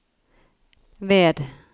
ved